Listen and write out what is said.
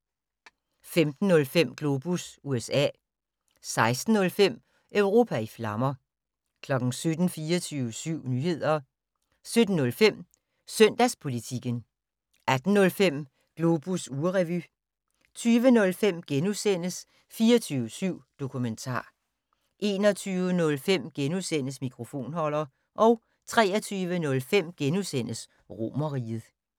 15:05: Globus USA 16:05: Europa i flammer 17:00: 24syv Nyheder 17:05: Søndagspolitikken 18:05: Globus ugerevy 20:05: 24syv Dokumentar * 21:05: Mikrofonholder * 23:05: Romerriget *